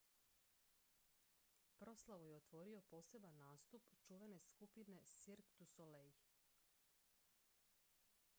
proslavu je otvorio poseban nastup čuvene skupine cirque du soleil